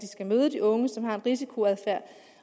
møde de unge som har en risikoadfærd